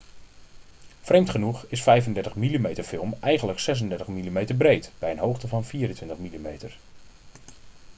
vreemd genoeg is 35 mm-film eigenlijk 36 mm breed bij een hoogte van 24 mm